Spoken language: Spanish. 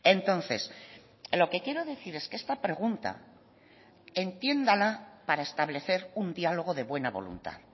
entonces lo que quiero decir es que esta pregunta entiéndala para establecer un diálogo de buena voluntad